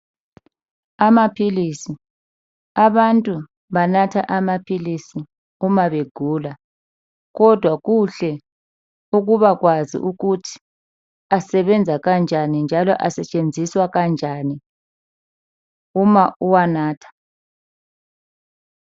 Amapilisi, abantu banatha amapilisi uma begula. Kodwa kuhle ukubakwazi ukuthi asenza kanjani njalo asetshenziswa kanjani uma uwanatha.